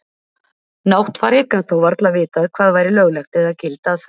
Náttfari gat þó varla vitað hvað væri lögleg eða gild aðferð.